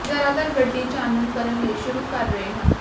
ਜ਼ਿਆਦਾਤਰ ਗੱਡੀ ਚਾਨਣ ਕਰਨ ਲਈ ਸ਼ੁਰੂ ਕਰ ਰਹੇ ਹਨ